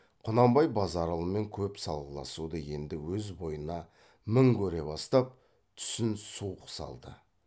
құнанбай базаралымен көп салғыласуды енді өз бойына мін көре бастап түсін суық салды